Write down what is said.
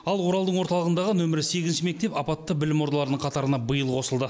ал оралдың орталығындағы нөмірі сегізінші мектеп апатты білім ордаларының қатарына биыл қосылды